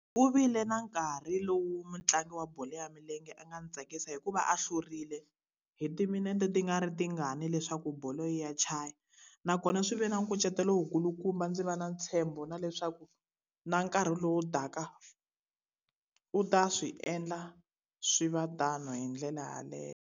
Ku vile na nkarhi lowu mutlangi wa bolo ya milenge a nga ni tsakisa hi ku va a hlurile hi timinete ti nga ri tingani leswaku bolo yi ya chaya. Nakona swi ve na nkucetelo wu kulukumba ndzi va na ntshembo na leswaku, na nkarhi lowu taka u ta swi endla swi va tano hi ndlela yaleyo.